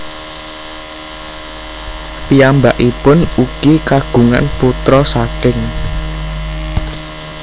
Piyambakipun ugi kagungan putra saking